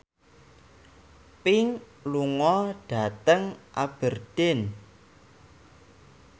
Pink lunga dhateng Aberdeen